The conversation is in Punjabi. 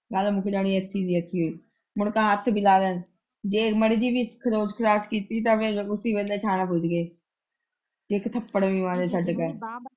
ਮੁੜਕੇ ਹੱਥ ਲਗਾਵੇ ਜੇ ਮਾੜੀ ਜਿਹੀ ਵੀ ਖਰੋਚ -ਖਰਾਚ ਕੀਤੀ ਤੇ ਫੇਰ ਉਸ ਵੇਲ਼ੇ ਥਾਣੇ ਪੁੱਜ ਗਏ ਜੇ ਇੱਕ ਥੱਪੜ ਵੀ ਮਾਰਿਆ ਛੱਡ ਕੇ।